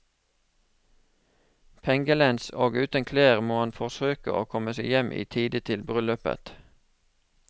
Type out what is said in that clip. Pengelens og uten klær må han forsøke å komme seg hjem i tide til bryllupet.